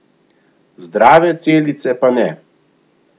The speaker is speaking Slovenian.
Zdrave celice pa ne.